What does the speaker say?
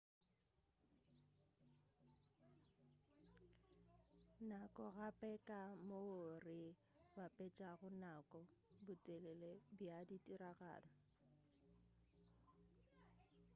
nako ke gape ka moo re bapetšago nako botelele bja ditiragalo